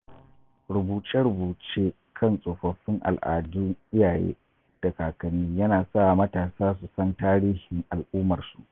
Rubuce-rubuce kan tsofaffin al'adun iyaye da kakanni yana sawa matasa su san tarihin al'ummarsu.